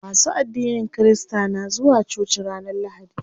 Masu addinin kirista na zuwa coci ranar lahadi.